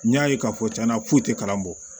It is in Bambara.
N y'a ye k'a fɔ tiɲɛna foyi tɛ kalan bɔ